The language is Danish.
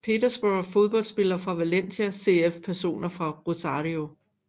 Petersborg Fodboldspillere fra Valencia CF Personer fra Rosario